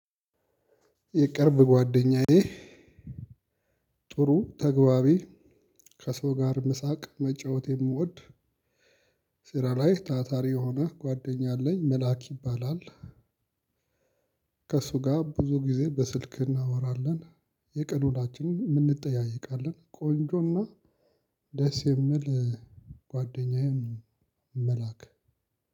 የቅርብ ጓደኛዬ ጥሩ ተግባቢ ከሰው ጋር መሳቅ መጫወት የሚወድ ስራ ላይ ታታሪ የሆነ ጓደኛ አለኝ መላክ ይባላል። ከእሱ ጋር ብዙ ጊዜ በስልክ እናወራለን። የቀን ውሎአችንንም እንጠያየቃለን ቆንጆና ደስ የሚል ጓደኛዬን መላክ